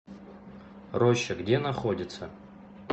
роща где находится